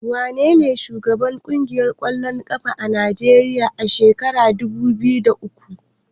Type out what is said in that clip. Wanene shugaban ƙungiyar ƙwallon ƙafa ta Najeriya a shekarar dubu biyu da uku?